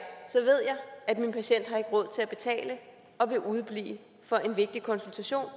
at min patient ikke har råd til at betale og vil udeblive fra en vigtig konsultation